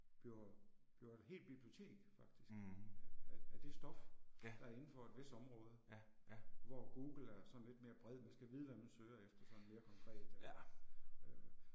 Bliver bliver et helt bibliotek faktisk, øh af af det stof, der er indenfor et vist område, hvor Google er sådan lidt mere bred, man skal vide hvad man søger efter sådan mere konkret øh, øh